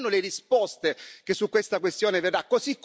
Quali saranno le risposte che su questa questione verranno?